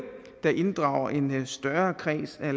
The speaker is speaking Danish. der inddrager en større kreds af